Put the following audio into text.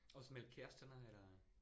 Også med kæresterne eller?